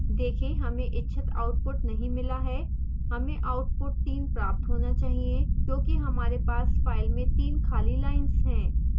देखें हमें इच्छित output नहीं मिला है हमें output 3 प्राप्त होना चाहिए क्योंकि हमारे पास फाइल में 3 खाली लाइन्स हैं